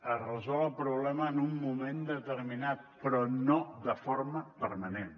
es resol el problema en un moment determinat però no de forma permanent